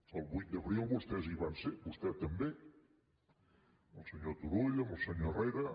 el vuit d’abril vostès hi van ser vostè també el senyor turull amb el senyor herrera